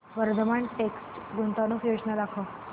Vardhman text गुंतवणूक योजना दाखव